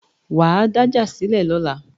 Wà á dájà sílẹ̀ lọ́la